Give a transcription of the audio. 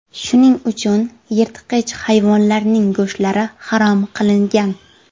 Shuning uchun yirtqich hayvonlarning go‘shtlari harom qilingan.